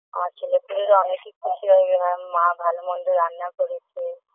আমার ছেলেপেলেরা অনেকেই খুশি হয় যে আমার মা ভালো-মন্দ রান্না করেছে